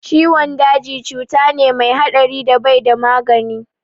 Ciwon daji ciwo ne mai haɗari da bai da magani